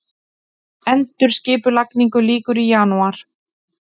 Endurskipulagningu lýkur í janúar